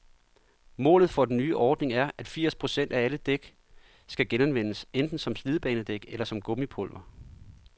Målet for den nye ordning er, at firs procent af alle dæk skal genanvendes, enten som slidbanedæk eller som gummipulver.